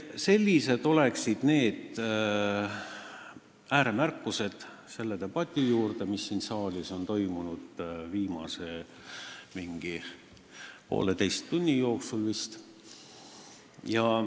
Sellised on need ääremärkused selle debati juurde, mis siin saalis on toimunud vist viimase poolteise tunni jooksul.